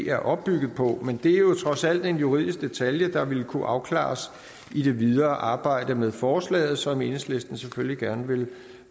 er opbygget på men det er jo trods alt en juridisk detalje der vil kunne afklares i det videre arbejde med forslaget som enhedslisten selvfølgelig gerne vil